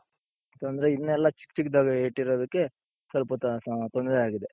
ಯಾಕಂದ್ರೆ ಇನ್ನೆಲ್ಲಾ ಚಿಕ್ಕ ಚಿಕ್ಕದಾಗಿ ಇಟ್ಟಿರೋದಕ್ಕೆ ಸ್ವಲ್ಪ ತೊಂದ್ರೆ ಆಗಿದೆ.